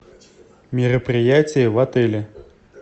мероприятия в отеле